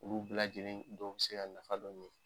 Olu bi lajɛlen dɔw bi se ka nafa dɔ ɲɛ.